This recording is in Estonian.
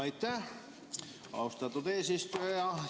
Aitäh, austatud eesistuja!